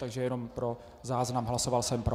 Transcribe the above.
Takže jenom pro záznam, hlasoval jsem pro.